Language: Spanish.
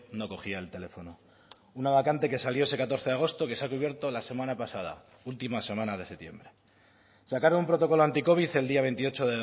no cogía el teléfono una vacante que salió ese catorce agosto que se ha cubierto la semana pasada última semana de septiembre sacaron un protocolo anticovid el día veintiocho